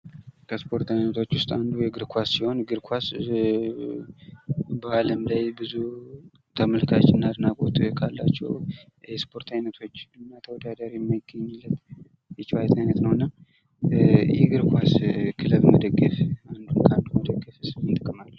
ከስፖርት አይነቶች ውስጥ አንዱ የእግር ኳስ ሲሆን እግር ኳስ አለም ላይ ብዙ ተመልካች እና አድናቆት ካላቸው የስፖርት አይነቶች እና ተወዳዳሪ የማይገኝለት የጨዋታ አይነት ነው እና የእግር ኳስ ክለብ መደገፍ አንዱን ከአንዱ መደገፍስ ምን ጥቅም አለው?